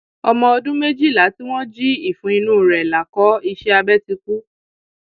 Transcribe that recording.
ọmọ ọdún um méjìlá tí wọn jí ìfun inú um rẹ lákọ iṣẹ abẹ ti kú